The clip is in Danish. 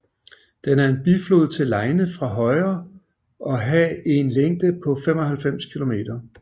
Den er en biflod til Leine fra højre og ha en længde på 95 kilometer